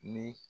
Ni